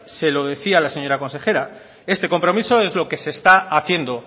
se lo decía la señora consejera este compromiso es lo que se está haciendo